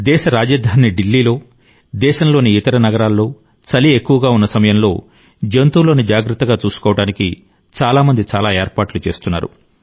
దేశ రాజధాని ఢిల్లీలో దేశంలోని ఇతర నగరాల్లో చలి ఎక్కువగా ఉన్న సమయంలో జంతువులను జాగ్రత్తగా చూసుకోవడానికి చాలా మంది చాలా ఏర్పాట్లు చేస్తున్నారు